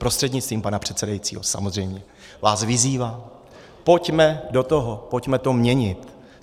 Prostřednictvím pana předsedajícího samozřejmě vás vyzývám, pojďme do toho, pojďme to měnit.